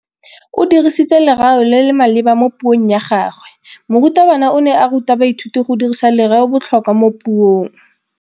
O dirisitse lerêo le le maleba mo puông ya gagwe. Morutabana o ne a ruta baithuti go dirisa lêrêôbotlhôkwa mo puong.